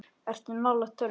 Ertu nálægt tölvu?